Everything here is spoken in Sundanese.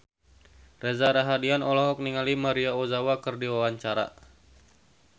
Reza Rahardian olohok ningali Maria Ozawa keur diwawancara